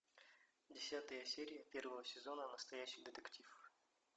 десятая серия первого сезона настоящий детектив